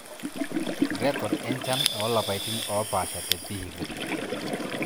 Rrekod enchan oolapaitin oopaasha te Vihiga.